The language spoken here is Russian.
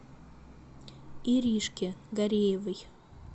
иришке гареевой